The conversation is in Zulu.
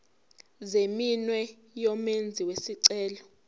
zeminwe yomenzi wesicelo